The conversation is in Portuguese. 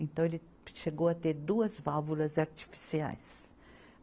Então, ele chegou a ter duas válvulas artificiais.